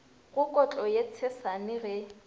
go kotlo ye tshesane ge